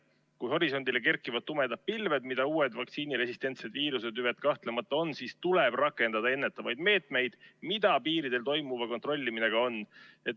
Kui horisondile kerkivad tumedad pilved, mida uued vaktsiiniresistentsed viirusetüved kahtlemata on, siis tuleb rakendada ennetavaid meetmeid, mida piiril toimuva kontrollimine ka on.